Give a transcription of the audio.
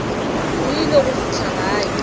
o ile go fihla gae